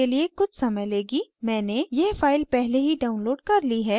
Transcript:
मैंने यह file पहले ही downloaded कर ली है यह यहाँ है